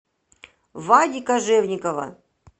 вади кожевникова